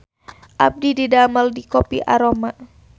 Abdi didamel di Kopi Aroma